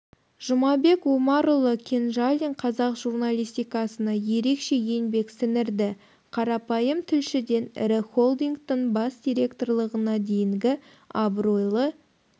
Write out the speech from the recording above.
жұмабек омарұлы кенжалин қазақ журналистикасына ерекше еңбек сіңірді қарапайым тілшіден ірі холдингтің бас директорлығына дейінгі абыройлы